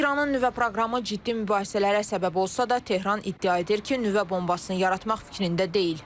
İranın nüvə proqramı ciddi mübahisələrə səbəb olsa da, Tehran iddia edir ki, nüvə bombasını yaratmaq fikrində deyil.